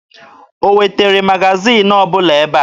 O wetere magaziini ọbụla ebe a?